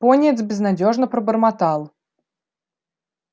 пониетс безнадёжно пробормотал